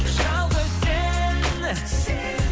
жалғыз сен сен